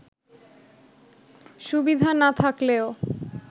সুবিধা না থাকলেও